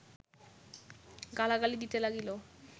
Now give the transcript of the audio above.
গালাগালি দিতে লাগিল